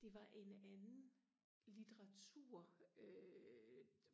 det var en anden litteratur øh